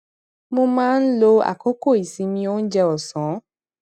mo máa ń lo àkókò ìsinmi oúnjẹ òsán